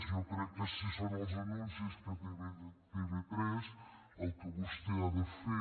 jo crec que si són els anuncis que té tv3 el que vostè ha de fer